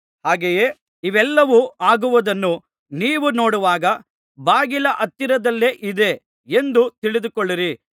ಹಾಗೆಯೇ ಇವೆಲ್ಲವೂ ಆಗುವುದನ್ನು ನೀವು ನೋಡುವಾಗ ಬಾಗಿಲ ಹತ್ತಿರದಲ್ಲಿಯೇ ಇದ್ದೆ ಎಂದು ತಿಳಿದುಕೊಳ್ಳಿರಿ